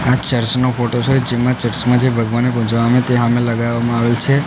આ ચર્ચ નો ફોટો છે જેમાં ચર્ચ માં જે ભગવાનને ત્યાં હામે લગાવામાં આવેલ છે.